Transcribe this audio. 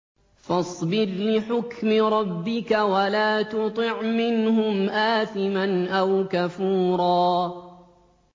فَاصْبِرْ لِحُكْمِ رَبِّكَ وَلَا تُطِعْ مِنْهُمْ آثِمًا أَوْ كَفُورًا